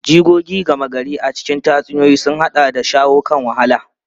Jigogi gama gari a cikin tatsuniyoyi sun haɗa da shawo kan wahala.